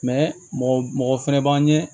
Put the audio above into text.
mɔgɔ mɔgɔ fɛnɛ b'an ɲɛ